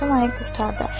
Ramazan ayı qurtardı.